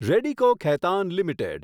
Radico Khaitan limited